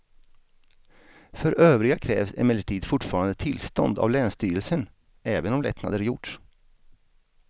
För övriga krävs emellertid fortfarande tillstånd av länsstyrelsen även om lättnader gjorts.